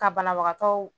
Ka banabagatɔw